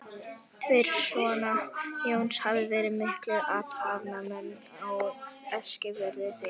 Tveir sona Jóns hafa verið miklir athafnamenn á Eskifirði, þeir